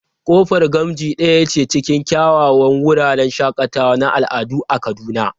Kofar Gamji daya ce cikin kyawawan wuraren shakatawa na al'adu a Kaduna.